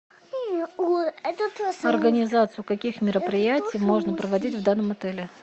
организацию каких мероприятий можно проводить в данном отеле